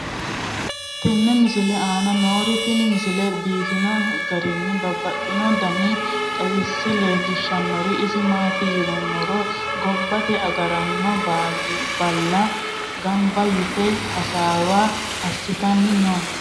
tenne misile aana noorina tini misile biiffanno garinni babaxxinno daniinni xawisse leelishanori isi maati yinummoro gobbatte agaraanno baalla ganba yitte hasaawa asittanni noo